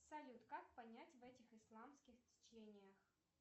салют как понять в этих исламских течениях